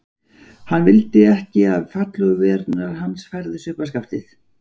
Hann vildi ekki að fallegu verurnar Hans færðu sig upp á skaftið.